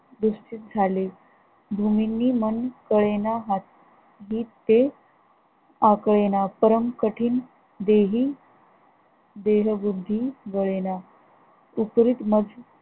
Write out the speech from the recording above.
दृष्टिस झाले भूमींनी मन कळेना हातीते आकळेना, परन कठीण देही देह बुद्धी वळेना उपरीत मग